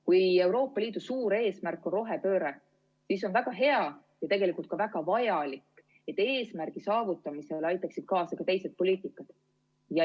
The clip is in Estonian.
Kui Euroopa Liidu suur eesmärk on rohepööre, siis on väga hea ja tegelikult ka väga vajalik, et eesmärgi saavutamisele aitaksid kaasa ka teised poliitikad.